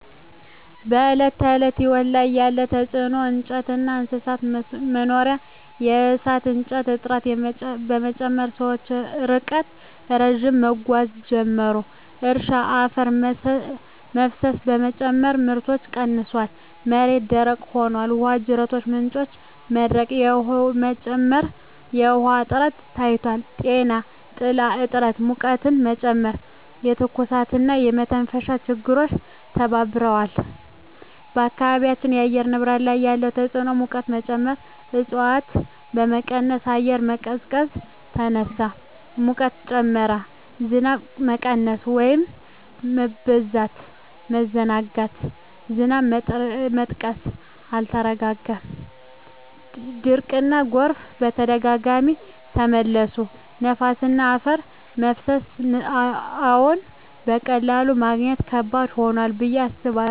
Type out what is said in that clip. በዕለት ተዕለት ሕይወት ላይ ያለ ተጽዕኖ እንጨትና እንስሳት መኖሪያ የእሳት እንጨት እጥረት በመጨመር ሰዎች ርቀት ረዥም መጓዝ ጀመሩ። እርሻ አፈር መፍሰስ በመጨመር ምርት ቀንሷል፣ መሬት ደረቅ ሆኗል። ውሃ ጅረቶችና ምንጮች መድረቅ በመጨመር የውሃ እጥረት ታይቷል። ጤና ጥላ እጥረት ሙቀትን ጨመረ፣ የትኩሳትና የመተንፈሻ ችግሮች ተባብረዋል። በአካባቢው የአየር ንብረት ላይ ያለ ተጽዕኖ ሙቀት መጨመር እፅዋት በመቀነስ አየር መቀዝቀዝ ተነሳ፣ ሙቀት ጨመረ። ዝናብ መቀነስ/መበዛት መዘናጋት ዝናብ መጥቀስ አልተረጋገጠም፣ ድርቅና ጎርፍ በተደጋጋሚ ተመለሱ። ነፋስና አፈር መፍሰስ አዎን፣ በቀላሉ ማግኘት ከባድ ሆኗል ብዬ አስባለሁ። የዱር መጥፋትና መሬት መቀየር ምክንያት እፅዋት ቦታቸውን አጡ።